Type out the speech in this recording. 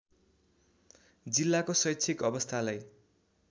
जिल्लाको शैक्षिक अवस्थालाई